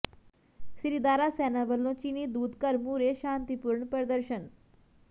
ਸ੍ਰੀ ਦਾਰਾ ਸੈਨਾ ਵੱਲੋਂ ਚੀਨੀ ਦੂਤਘਰ ਮੂਹਰੇ ਸ਼ਾਂਤੀਪੂਰਨ ਪ੍ਰਦਰਸ਼ਨ